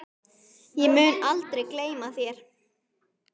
Ég mun aldrei gleyma þér.